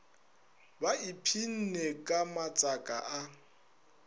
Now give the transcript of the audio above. ba iphsinne ka matsaka a